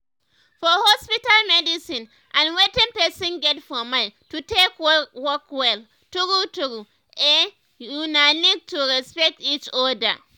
for hospital medicine and wetin person get for mind to take work well true true eh una need to respect each other.